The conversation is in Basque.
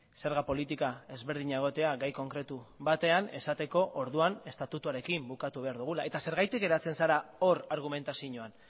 zerga politika ezberdina egotea gai konkretu batean esateko orduan estatutuarekin bukatu behar dugula eta zergatik geratzen zara hor argumentazioan